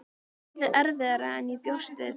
Er starfið erfiðara en ég bjóst við?